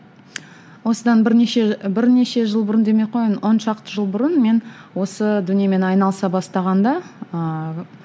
осыдан бірнеше бірнеше жыл бұрын демей ақ қояйын он шақты жыл бұрын мен осы дүниемен айналыса бастағанда ыыы